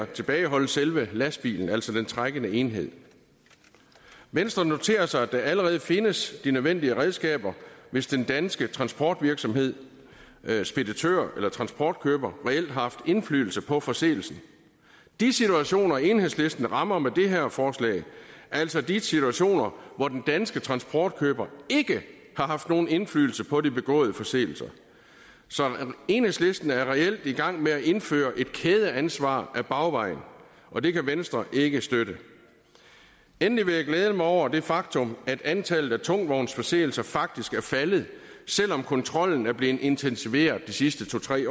tilbageholde selve lastbilen altså den trækkende enhed venstre noterer sig at der allerede findes de nødvendige redskaber hvis den danske transportvirksomhed speditør eller transportkøber reelt har haft indflydelse på forseelsen de situationer enhedslisten rammer med det her forslag er altså de situationer hvor den danske transportkøber ikke har haft nogen indflydelse på de begåede forseelser så enhedslisten er reelt i gang med at indføre et kædeansvar ad bagvejen og det kan venstre ikke støtte endelig vil jeg glæde mig over det faktum at antallet af tungvognsforseelser faktisk er faldet selv om kontrollen er blevet intensiveret de sidste to tre